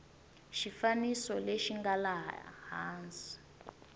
xifaniso lexi nga laha hansi